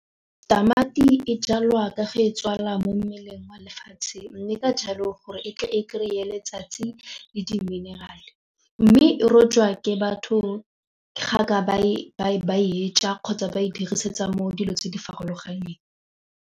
Tamati e jalwa ka ge tswala mo mmeleng wa lefatshe mme ka jalo gore e tle e kry-e letsatsi le di-mineral-e mme e rojwa ke batho ga ba e ja kgotsa ba e dirisetsa mo dilo tse di farologaneng.